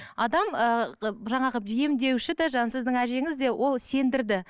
адам ы жаңағы емдеуші де жаңағы сіздің әжеңіз де ол сендірді